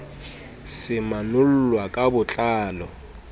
se manollwa ka bo tlalo